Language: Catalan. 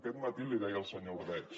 aquest matí l’hi deia el senyor ordeig